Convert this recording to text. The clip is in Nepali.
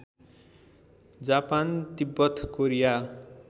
जापान तिब्बत कोरिया